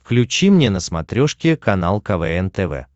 включи мне на смотрешке канал квн тв